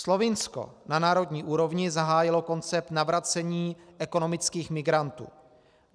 Slovinsko na národní úrovni zahájilo koncept navracení ekonomických migrantů.